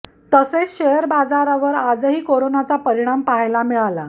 तसेच शेअर बाजारावर आजही करोनाचा परिणाम पहायला मिळाला